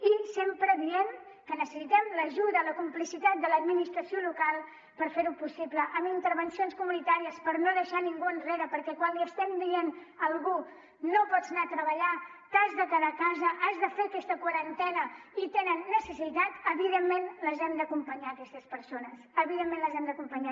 i sempre diem que necessitem l’ajuda la complicitat de l’administració local per fer ho possible amb intervencions comunitàries per no deixar ningú enrere perquè quan li estem dient a algú no pots anar a treballar t’has de quedar a casa has de fer aquesta quarantena i tenen necessitat evidentment les hem d’acompanyar aquestes persones evidentment les hem d’acompanyar